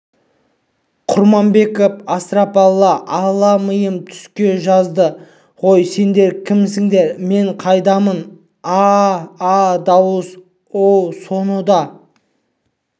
құрманбеков астапралла алла миым түсе жаздады ғой сендер кімсіңдер мен қайдамын аа-а дауыс оу соны да